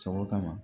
Sɔgɔ kama